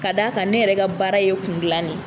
Ka da kan , ne yɛrɛ ka baara ye kun gilan de ye.